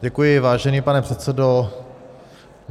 Děkuji, vážený pane předsedo.